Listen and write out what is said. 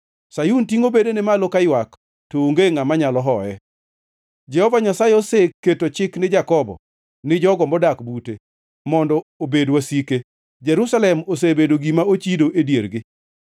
Sayun tingʼo bedene malo kaywak, to onge ngʼama nyalo hoye. Jehova Nyasaye oseketo chik ni Jakobo, ni jogo modak bute, mondo obed wasike; Jerusalem osebedo gima ochido e diergi.